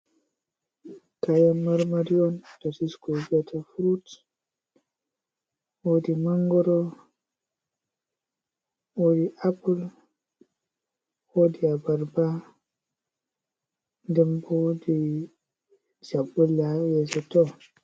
Kayan mar mari on ɗa sisku vi'ata furut. Woɗi mangro, woɗi apul, woɗi abarba. Ɗembo woɗi chabbulle ha yese to.